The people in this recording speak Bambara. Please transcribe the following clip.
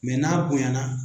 n'a bonya na.